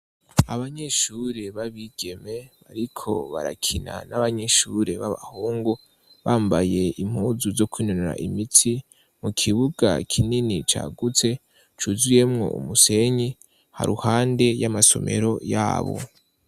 Abanyeshuri b'abigeme bariko barakina n'abanyeshure b'abahungu bambaye impuzu zo kwinonora imitsi mu kibuga kinini cagutse cuzuyemwo umusenyi haruhande y'amasomero yabo.